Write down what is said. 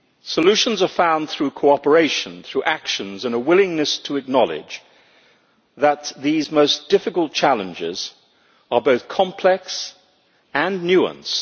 Solutions are found through cooperation, through actions and a willingness to acknowledge that these most difficult challenges are both complex and nuanced.